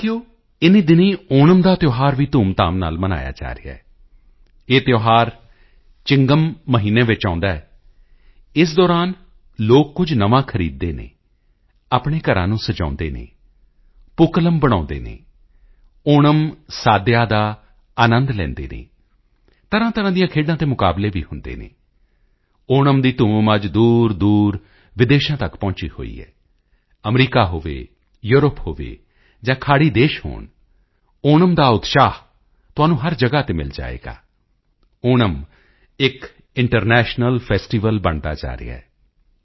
ਸਾਥੀਓ ਇਨ੍ਹੀਂ ਦਿਨੀਂ ਓਣਮ ਦਾ ਤਿਓਹਾਰ ਵੀ ਧੂਮਧਾਮ ਨਾਲ ਮਨਾਇਆ ਜਾ ਰਿਹਾ ਹੈ ਇਹ ਤਿਓਹਾਰ ਚਿੰਗਮ ਮਹੀਨੇ ਵਿੱਚ ਆਉਦਾ ਹੈ ਇਸ ਦੌਰਾਨ ਲੋਕ ਕੁਝ ਨਵਾਂ ਖਰੀਦਦੇ ਹਨ ਆਪਣੇ ਘਰਾਂ ਨੂੰ ਸਜਾਉਦੇ ਹਨ ਪੂਕਲਮ ਬਣਾਉਦੇ ਹਨ ਓਣਮ ਸਾਦਿਆ ਦਾ ਆਨੰਦ ਲੈਂਦੇ ਹਨ ਤਰ੍ਹਾਂਤਰ੍ਹਾਂ ਦੀਆਂ ਖੇਡਾਂ ਅਤੇ ਮੁਕਾਬਲੇ ਵੀ ਹੁੰਦੇ ਹਨ ਓਣਮ ਦੀ ਧੂਮ ਅੱਜ ਦੂਰਦੂਰ ਵਿਦੇਸ਼ਾਂ ਤੱਕ ਪਹੁੰਚੀ ਹੋਈ ਹੈ ਅਮਰੀਕਾ ਹੋਵੇ ਯੂਰਪ ਹੋਵੇ ਜਾਂ ਖਾੜੀ ਦੇਸ਼ ਹੋਣ ਓਣਮ ਦਾ ਉਤਸ਼ਾਹ ਤੁਹਾਨੂੰ ਹਰ ਜਗ੍ਹਾ ਤੇ ਮਿਲ ਜਾਵੇਗਾ ਓਣਮ ਇੱਕ ਇੰਟਰਨੈਸ਼ਨਲ ਫੈਸਟੀਵਲ ਬਣਦਾ ਜਾ ਰਿਹਾ ਹੈ